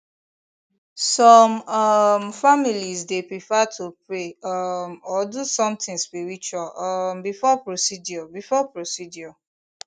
some um families dey prefer to pray um or do something spiritual um before procedure before procedure